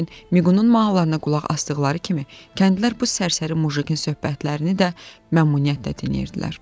Lakin Miqulun mahnılarına qulaq asdıqları kimi, kəndlilər bu sərsəri mujikin söhbətlərini də məmnuniyyətlə dinləyirdilər.